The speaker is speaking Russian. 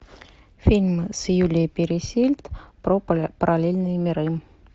фильм с юлией пересильд про параллельные миры